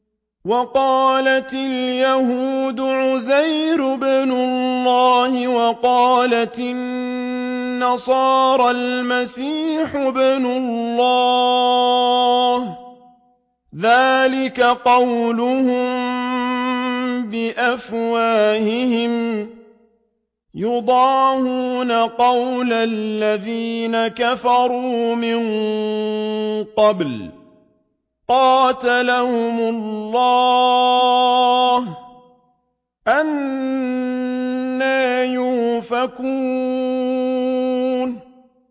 وَقَالَتِ الْيَهُودُ عُزَيْرٌ ابْنُ اللَّهِ وَقَالَتِ النَّصَارَى الْمَسِيحُ ابْنُ اللَّهِ ۖ ذَٰلِكَ قَوْلُهُم بِأَفْوَاهِهِمْ ۖ يُضَاهِئُونَ قَوْلَ الَّذِينَ كَفَرُوا مِن قَبْلُ ۚ قَاتَلَهُمُ اللَّهُ ۚ أَنَّىٰ يُؤْفَكُونَ